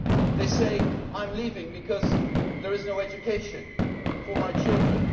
They say I am leaving because there is no education for my children'.